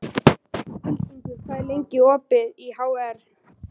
Hildingur, hvað er lengi opið í HR?